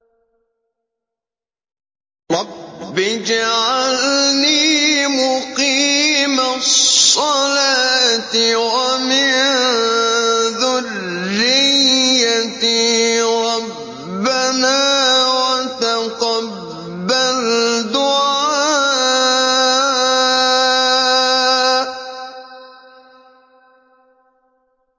رَبِّ اجْعَلْنِي مُقِيمَ الصَّلَاةِ وَمِن ذُرِّيَّتِي ۚ رَبَّنَا وَتَقَبَّلْ دُعَاءِ